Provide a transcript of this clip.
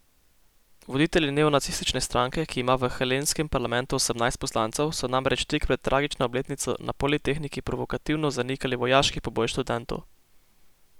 Voditelji neonacistične stranke, ki ima v helenskem parlamentu osemnajst poslancev, so namreč tik pred tragično obletnico na Politehniki provokativno zanikali vojaški poboj študentov.